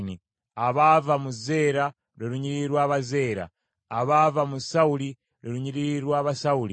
abaava mu Zeera, lwe lunyiriri lw’Abazeera; abaava mu Sawuli, lwe lunyiriri lw’Abasawuli.